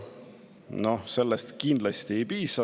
Noh, sellest kindlasti ei piisa.